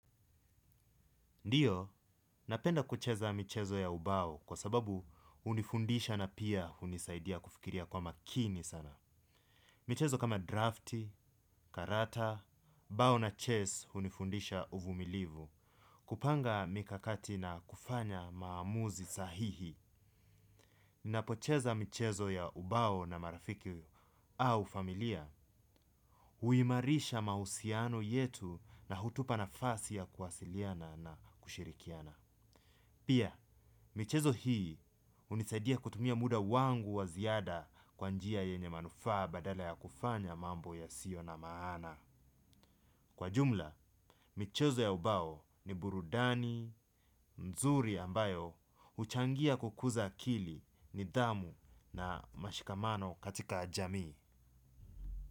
Ndiyo, napenda kucheza michezo ya ubao kwa sababu hunifundisha na pia hunisaidia kufikiria kwa makini sana. Michezo kama drafti, karata, bao na chess hunifundisha uvumilivu, kupanga mikakati na kufanya maamuzi sahihi. Ninapocheza michezo ya ubao na marafiki au familia, huimarisha mahusiano yetu na hutupa nafasi ya kuwasiliana na kushirikiana. Pia, michezo hii hunisadia kutumia muda wangu wa ziada kwa njia yenye manufaa badala ya kufanya mambo yasiyo na maana. Kwa jumla, michezo ya ubao ni burudani, nzuri ambayo, huchangia kukuza akili nidhamu na mashikamano katika jamii.